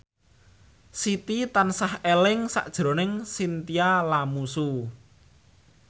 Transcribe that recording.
Siti tansah eling sakjroning Chintya Lamusu